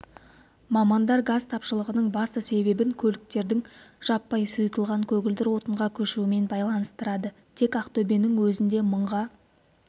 мамандар газ тапшылығының басты себебін көліктердің жаппай сұйылтылған көгілдір отынға көшуімен байланыстырады тек ақтөбенің өзінде мыңға